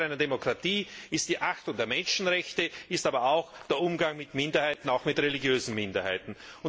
Gradmesser einer Demokratie ist die Achtung der Menschenrechte, ist aber auch der Umgang mit Minderheiten, auch mit religiösen Minderheiten.